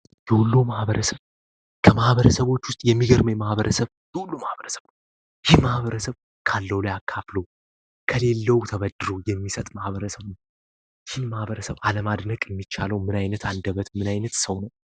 ከማሕበረሰቦች ውስጥ የሚገርመ ማህበረሰብ የሁሉ ማህበረ ሰቦች ይህ ማሕበረሰብ ካለው ላይ አካፍለ ከሌለው ተበድሩ የሚሰጥ ማህበረ ሰውነ ይን ማህበረሰብ ዓለም አድነቅ የሚቻለው ምናይነት አንደበት ምናይነት ሰው ነው፡፡